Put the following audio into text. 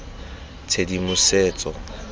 tshedimosetso